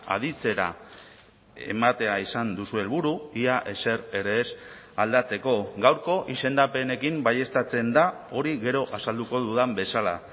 aditzera ematea izan duzue helburu ia ezer ere ez aldatzeko gaurko izendapenekin baieztatzen da hori gero azalduko dudan bezala